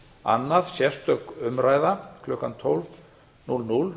annað sérstök umræða klukkan tólf núll núll um